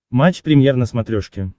матч премьер на смотрешке